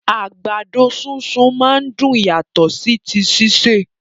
Àgbàdo súnsun máa n dùn yàtọ̀ sí ti sise.